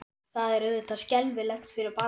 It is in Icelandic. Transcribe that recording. Það er auðvitað skelfilegt fyrir barnið.